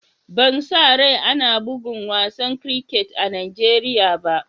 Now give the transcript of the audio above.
Ban sa rai ana bugan wasan kriket a Nijeriya ba.